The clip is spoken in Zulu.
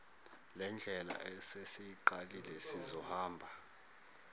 lendlela esesiyiqalile sizohamba